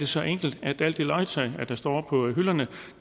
så enkelt at alt det legetøj der står på hylderne